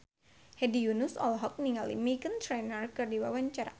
Hedi Yunus olohok ningali Meghan Trainor keur diwawancara